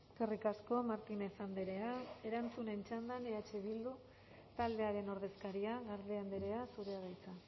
eskerrik asko martínez andrea erantzunen txandan eh bildu taldearen ordezkaria garde andrea zurea da hitza